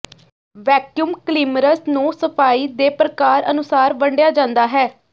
vacuum cleaners ਨੂੰ ਸਫਾਈ ਦੇ ਪ੍ਰਕਾਰ ਅਨੁਸਾਰ ਵੰਡਿਆ ਜਾਂਦਾ ਹੈ